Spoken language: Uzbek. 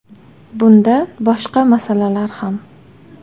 Bunda boshqa masalalar ham.